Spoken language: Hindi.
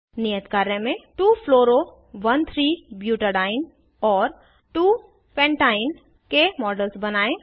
नियत कार्य में 2 fluoro 13 ब्यूटाडीन और 2 पेंटाइन के मॉडल्स बनायें